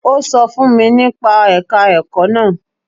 Ó sọ fún mi nípa ẹ̀ka ẹ̀kọ́ náà.